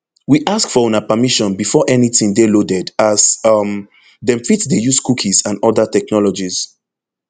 we ask for una permission before anytin dey loaded as um dem fit dey use cookies and oda technologies